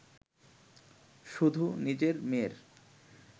শুধু নিজের মেয়ের